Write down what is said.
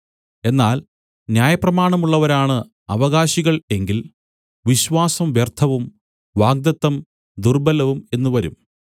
എന്നാൽ ന്യായപ്രമാണമുള്ളവരാണ് അവകാശികൾ എങ്കിൽ വിശ്വാസം വ്യർത്ഥവും വാഗ്ദത്തം ദുർബ്ബലവും എന്നു വരും